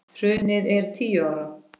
Hrunið er tíu ára.